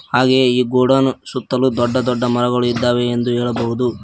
ಹಾಗೆಯೇ ಈ ಗೋಡೌನ್ ಸುತ್ತಲು ದೊಡ್ಡ ದೊಡ್ಡ ಮರಗಳು ಇದ್ದಾವೆ ಎಂದು ಹೇಳಬಹುದು.